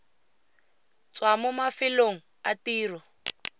tswa mo mafelong a tiro